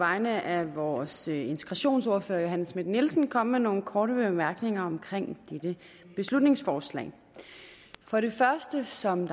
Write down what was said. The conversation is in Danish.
vegne af vores integrationsordfører fru johanne schmidt nielsen komme med nogle korte bemærkninger om dette beslutningsforslag for det første som